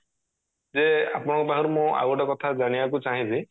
ଯେ ଆପଣଙ୍କ ପାଖରୁ ମୁଁ ଆଉ ଗୋଟେ କଥା ଜାଣିବାକୁ ଚାହିଁବି